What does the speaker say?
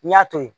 N'i y'a to yen